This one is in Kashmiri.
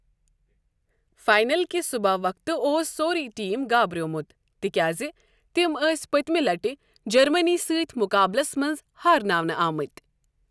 فاینَل کِہِ صٗبح وقتہٕ اوس سوروے ٹیٖم گابریومٗت تِکیٛازِ تِم ٲسۍ پٔتمہِ لٹہِ جرمٔنِی سۭتۍ مُقابلَس منٛز ہارناونہٕ آمٕتۍ ۔